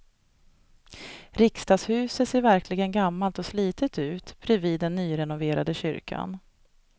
Riksdagshuset ser verkligen gammalt och slitet ut bredvid den nyrenoverade kyrkan.